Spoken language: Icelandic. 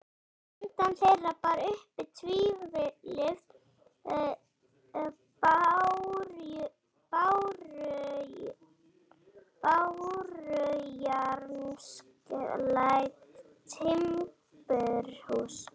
Handan þeirra bar uppi tvílyft bárujárnsklædd timburhús.